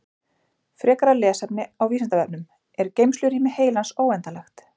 Frekara lesefni á Vísindavefnum Er geymslurými heilans óendanlegt?